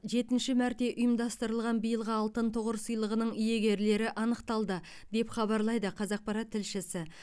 жетінші мәрте ұйымдастырылған биылғы алтын тұғыр сыйлығының иегерлері анықталды деп хабарлайды қазақпарат тілшісі